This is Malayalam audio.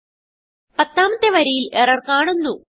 പത്താമത്തെ വരിയിൽ എറർ കാണുന്നു